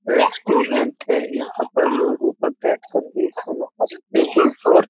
restaurant है यहॉं पर लोग ऊपर बैठ कर भी खाना-खा सकते हैं और --